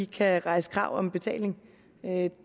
kan rejse krav om betaling